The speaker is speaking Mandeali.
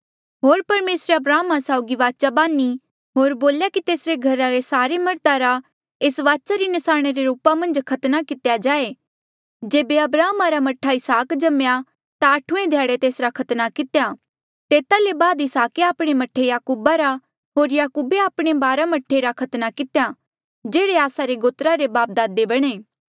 होर परमेसरे अब्राहमा साउगी वाचा बांधी होर बोल्या की तेसरे घरा रे सारे मर्धा रा एस वाचा री नसाणी रे रूपा मन्झ खतना कितेया जाये जेबे अब्राहम रा मह्ठा इसहाक जम्मेया ता आठुऐ ध्याड़े तेसरा खतना कितेया तेता ले बाद इसहाके आपणे मह्ठे याकूब रा होर याकूबे आपणे बारा मह्ठे रा खतना कितेया जेह्ड़े आस्सा रे गोत्रा रे बापदादे बणे